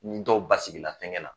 Ni dɔw basigi la fɛngɛ la